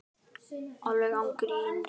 Alveg án gríns.